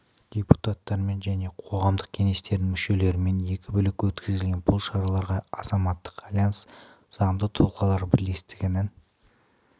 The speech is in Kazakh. депутаттармен және қоғамдық кеңестердің мүшелерімен екі бөлек өткізілген бұл шараларға азаматтық альянс заңды тұлғалар бірлестігінің